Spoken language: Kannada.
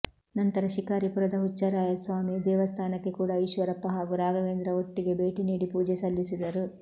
ನಂತರ ಶಿಕಾರಿಪುರದ ಹುಚ್ಚರಾಯ ಸ್ವಾಮಿ ದೇವಸ್ಥಾನಕ್ಕೆ ಕೂಡ ಈಶ್ವರಪ್ಪ ಹಾಗೂ ರಾಘವೇಂದ್ರ ಒಟ್ಟಿಗೆ ಭೇಟಿ ನೀಡಿ ಪೂಜೆ ಸಲ್ಲಿಸಿದರು